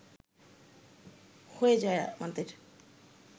হয়ে যায় আমাদের